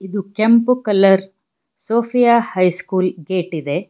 ದು ಕೆಂಪು colour Sophia high school gate ಇದೆ.